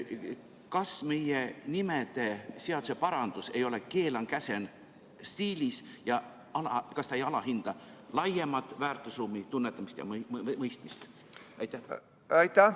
Kas meie nimeseaduse parandus ei ole keelan-käsin-stiilis ja kas see ei alahinda laiemat väärtusruumi tunnetamist ja mõistmist?